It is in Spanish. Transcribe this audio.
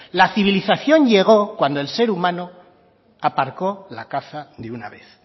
la civilización llegó cuando el ser humano aparcó la caza de una vez